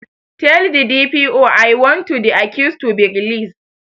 Tell the D. P. O I want to the accused to be released